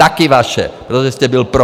Také vaše, protože jste byl pro!